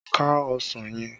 Ká ọsàn yẹn!